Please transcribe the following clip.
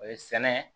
O ye sɛnɛ